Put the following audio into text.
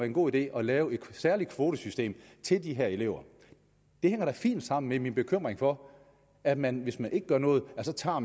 en god idé at lave et særligt kvotesystem til de her elever det hænger da fint sammen med min bekymring for at man hvis man ikke gør noget så tager